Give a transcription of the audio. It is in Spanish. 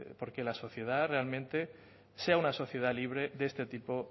por que la sociedad realmente sea una sociedad libre de este tipo